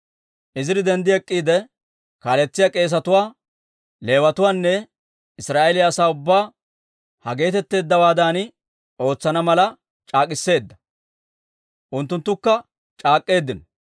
Iziri denddi ek'k'iide, kaaletsiyaa k'eesetuwaa, Leewatuwaanne Israa'eeliyaa asaa ubbaa ha geetetteeddawaadan ootsana mala c'aak'k'iseedda; unttunttukka c'aak'k'eeddino.